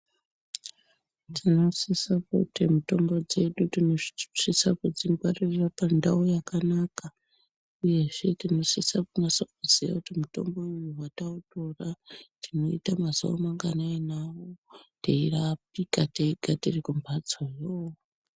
Tinosisa kuti mitombo dzedu tinosise kudzingwaririra pandau yakanaka uyezve tinosisa kunasa kuziya kuti mitombo uyu patautora tinoita mazuva manganai nawo teirapika teirya tiriyo kumhatsoyo.